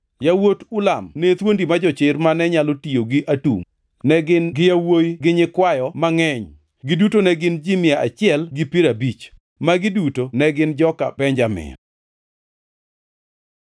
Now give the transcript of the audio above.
Yawuot Ulam ne thuondi ma jochir mane nyalo tiyo gi atungʼ. Ne gin gi yawuowi gi nyikwayo mangʼeny; giduto ne gin ji mia achiel gi piero abich. Magi duto ne gin joka Benjamin.